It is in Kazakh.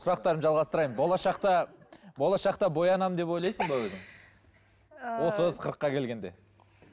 сұрақтарымды жалғастырайын болашақта болашақта боянамын деп ойлайсың ба өзің ыыы отыз қырыққа келгенде